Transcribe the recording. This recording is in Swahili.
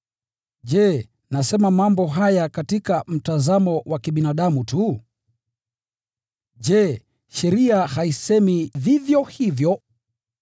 Je, nasema mambo haya katika mtazamo wa kibinadamu tu? Je, sheria haisemi vivyo hivyo?